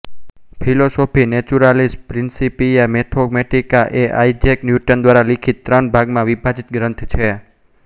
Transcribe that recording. philosophy Naturalis Principia Mathematica એ Isaac Newton દ્વારા લિખીત ત્રણ ભાગમાં વિભાજીત ગ્રંથ છે